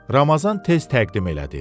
Ramazan tez təqdim elədi.